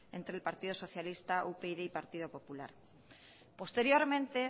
entre el partido socialista upyd y partido popular posteriormente